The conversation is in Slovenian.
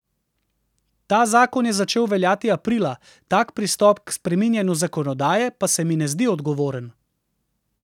Ta zakon je začel veljati aprila, tak pristop k spreminjanju zakonodaje pa se mi ne zdi odgovoren.